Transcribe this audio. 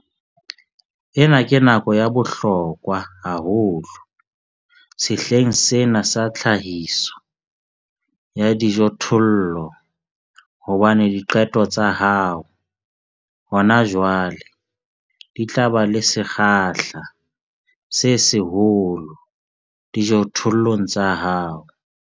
Ena ke nako ya bohlokwa haholo sehleng sena sa tlhahiso ya dijothollo hobane diqeto tsa hao hona jwale di tla ba le sekgahla se seholo dijothollong tsa hao.